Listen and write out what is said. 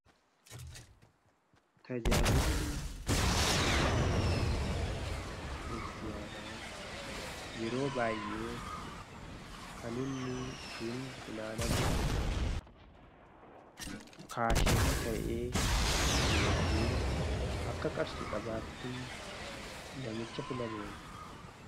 tajaajili maallaqa manaa kiristiyaana yeroo baayyee kan inni ittiin funaanamuu kaashirii ta'ee yookiin akka qarshi qabaattii namicha filameeni.